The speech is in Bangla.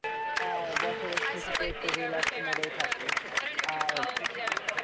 আর বছরের শেষেতে একটু relax mood এই থাকবো আর,